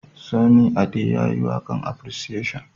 Sunny Ade ya yi waƙan appreciation